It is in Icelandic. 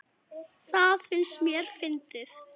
Það fannst mér fyndið.